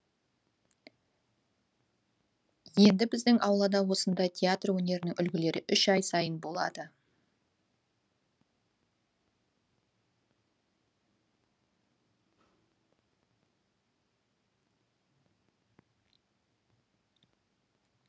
енді біздің ауылда осындай театр өнерінің үлгілері үш ай сайын болады